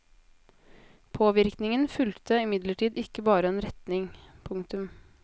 Påvirkningen fulgte imidlertid ikke bare en retning. punktum